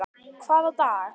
Hvaða dag?